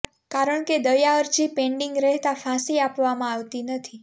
કારણ કે દયા અરજી પેન્ડિંગ રહેતા ફાંસી આપવામાં આવતી નથી